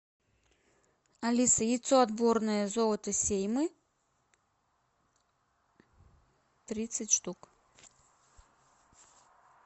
алиса яйцо отборное золото сеймы тридцать штук